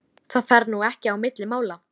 Já, verst að hann skyldi ekki komast út á land.